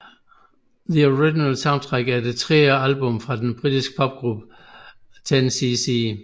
The Original Soundtrack er det tredje album fra den britisk popgruppe 10cc